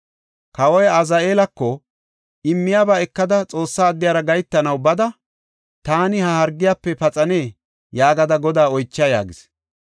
Kawoy Azaheelako, “Immiyaba ekada Xoossa addiyara gahetanaw bada, ‘Taani ha hargiyafe paxanee?’ yaagada Godaa oycha” yaagis.